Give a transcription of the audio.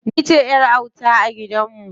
Ni ce ƴar auta a gidan mu.